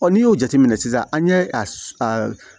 n'i y'o jateminɛ sisan an ye a